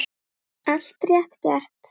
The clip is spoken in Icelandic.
Allt rétt gert.